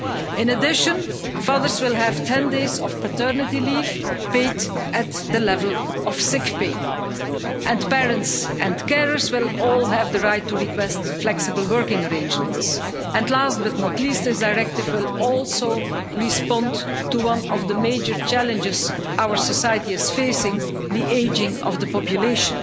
In addition, fathers will have 10 days of paternity leave paid at the level of sick pay, and parents and carers will all have the right to request flexible working arrangements. Last but not least, this directive will also respond to one of the major challenges our society is facing the ageing of the population.